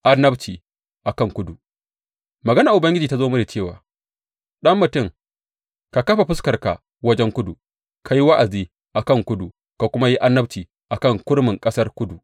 Annabci a kan kudu Maganar Ubangiji ta zo mini cewa, Ɗan mutum, ka kafa fuskarka wajen kudu; ka yi wa’azi a kan kudu ka kuma yi annabci a kan kurmin ƙasar kudu.